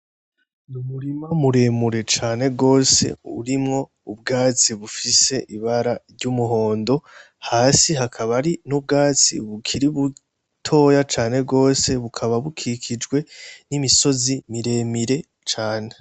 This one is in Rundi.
N'umurima muremure cane gose urimwo ubwatsi bufise ibara ry'umuhondo hasi hakaba hari n'ubwatsi bukiri butoya cane gose bukababa bukikijwe, n'imisozi miremire cane.